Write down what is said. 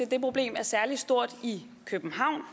det problem er særlig stort i københavn og